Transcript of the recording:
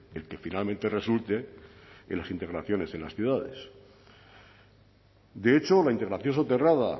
el que finalmente resulte en las integraciones en las ciudades de hecho la integración soterrada